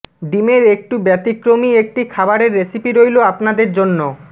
ডিমের একটু ব্যাতিক্রমি একটি খাবারের রেসিপি রইল আপনাদের জন্য